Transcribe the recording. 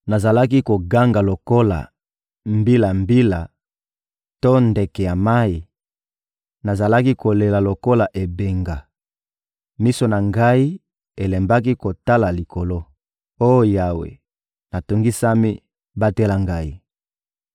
Nazalaki koganga lokola mbilambila to ndeke ya mayi, nazalaki kolela lokola ebenga. Miso na ngai elembaki kotala likolo. Oh Yawe, natungisami, batela ngai!»